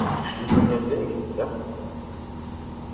пришли поменять деньги да